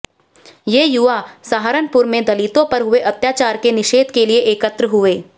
ये युवा सहारनपुर में दलितों पर हुए अत्याचार के निषेध के लिए एकत्र हुए